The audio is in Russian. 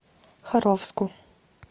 харовску